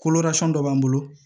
dɔ b'an bolo